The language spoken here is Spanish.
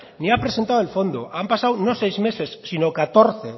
ni ha presentado el fondo han pasado no seis meses sino catorce